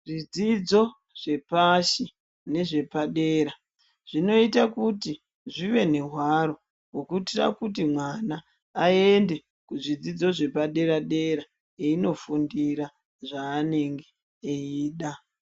Zvidzidzo zvepashi nezvepadera zvinoite kuti zvive nehwaro yekuiti kuti mwana aende kuzvidzidzo zvepadera dera einofundira zvaanenge woda.